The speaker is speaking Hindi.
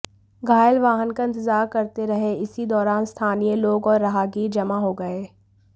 घायल वाहन का इंतजार करते रहे इसी दौरान स्थानीय लोग और राहगीर जमा हो गये